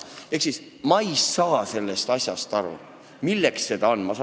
Ehk ma ei saa aru, milleks seda asja vaja on.